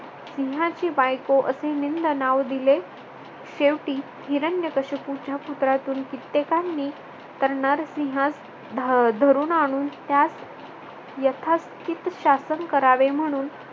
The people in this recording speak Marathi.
सिंहाची बायको असे निंद नाव दिले. शेवटी हिरण्यकश्यपूचा पुत्रातून कित्येकांनी तर नरसिंहास धरून आणून त्यास यथासकीत शासन करावे म्हणून